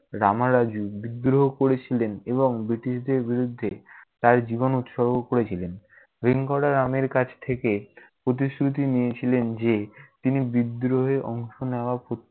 রামারাজু বিদ্রোহ করেছিলেন এবং ব্রিটিশদের বিরুদ্ধে তার জীবন উৎসর্গ করেছিলেন। রামের কাছ থেকে প্রতিশ্রুতি নিয়েছিলেন যে তিনি বিদ্রোহে অংশ নেয়া পর্য~